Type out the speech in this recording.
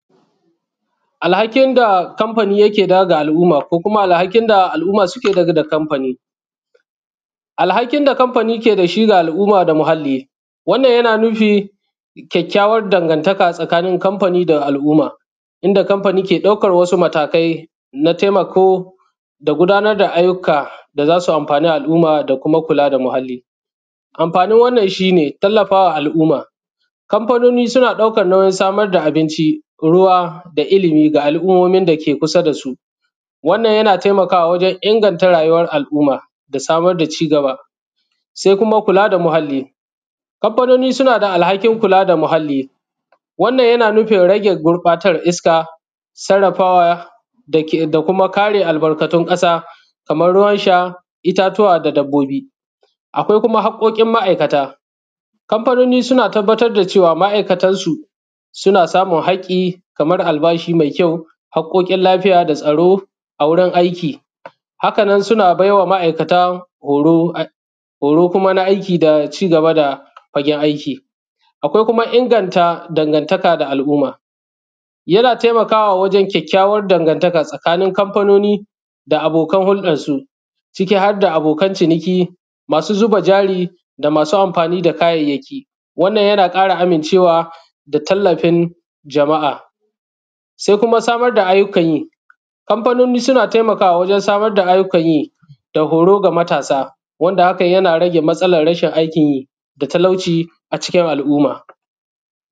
Al hakin da kamfani ke daga alˀumma. Kokuma al hakin da alˀumma suke daga kamfani. Al hakin da kamfani ke dashi ga alˀumma da muhalli. Wannan yana nufi kyakykyawan dangantaka tsakanin kamfani da alˀumma. Inda kamfani ke daukan wasu matakai na taimako. Da gudanar da aiyuka da zasu amfani alˀumma dakuma kula da muhalli. Amfanin wannan shine, tallafawa alˀumma. Kamfanoni suna daukan nauyin samar da abinchi. Ruwa da ilimi ga alˀummomin da ke kusa dasu. Wannan yan taimakawa wajen inganta rayuwar al’ummar, da samar da cigaba. Sai kuma kula da muhalli. Kamfanoni suna da alhakin kula da muhalli. Wannan yana nufin rage gurbatar iska. Sarrafawa dake dakuma kare albarkatun kasa. Kamar ruwan sha, itatuwa da dabbobi. Akwai kuma hakkokin ma’aikata. kamfanoni suna tabbatar da cewa ma’aikatansu, suna samun hakki. Kamar albashi mai kyau, hakkokin lafiya da tsaro a wurin aiki. Haka nan suna baiwa ma’aikata horo. Horo kuma na aiki da cigaba da fagen aiki. Akwai kuma inganta dangantaka da al’umma. Yana taimakawa wajen kyakkyawar dangantaka tsakanin kamfanoni. Da abokan huldarsu. Ciki harda abokan ciniki, masu zuba jari, da masu amfani da kayayyaki. Wannan yana ƙara amince wa da tallafin jama’a. Sai kuma samar da aiyukan yi. Kamfanoni suna taimakawa wajen samar da aiyukan yi. Da horo ga matasa. Wanda hakan yana rage matsalar rashin aikin yi. Da talauci acikin al’umma.